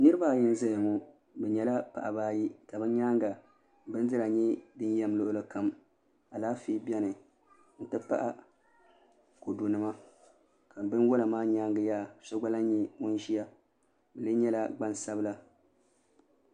Niraba ayi n ʒɛya ŋo bi nyɛla paɣaba ayi ka bi nyaanga bindira nyɛ din yɛm luɣuli kam Alaafee biɛni n ti pahi kodu nima ka binwola maa nyaangi yaha so gba lahi nyɛ ŋun ʒiya o lee nyɛla gbaŋsabila